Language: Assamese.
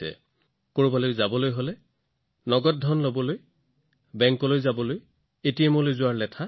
যিকোনো ঠাইলৈ যাওক নগদ ধন লৈ যোৱাৰ বেংকলৈ যোৱাৰ এটিএম বিচৰাৰ সমস্যা নাই